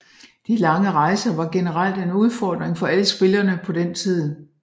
De lange rejser var generelt en udfording for alle spillerne på den tid